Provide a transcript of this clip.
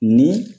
Ni